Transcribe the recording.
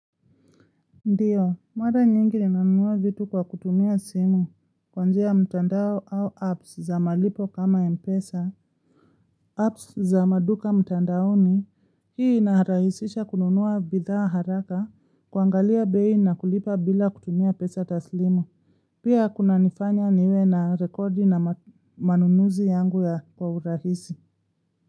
Ndio, muda nyingi linanunua vitu kwa kutumia simu kwa njia mtandao au apps za malipo kama mpesa, apps za maduka mtandao hii inarahisisha kununua bidhaa haraka kuangalia beii na kulipa bila kutumia pesa taslimu. Pia kuna nifanya niwe na rekodi na manunuzi yangu ya kwa urahisi.